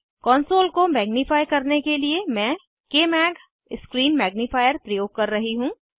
console को magnify करने के लिए मैं कमाग स्क्रीन मैग्निफायर प्रयोग कर रही हूँ